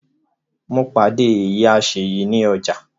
Mo pàdé ìyá Ṣeyi ní ọjà